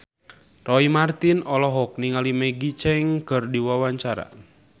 Roy Marten olohok ningali Maggie Cheung keur diwawancara